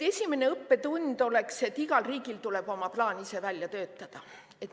Esimene õppetund oleks see, et igal riigil tuleb oma plaan endal välja töötada.